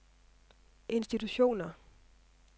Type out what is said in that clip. institutioner